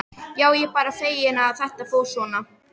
Já, ég er bara feginn að þetta fór svona.